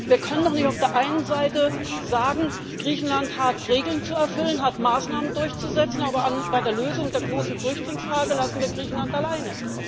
Wir können doch nicht auf der einen Seite sagen, Griechenland hat Regeln zu erfüllen, hat Maßnahmen durchzusetzen, aber bei der Lösung der großen Flüchtlingsfrage lassen wir Griechenland alleine.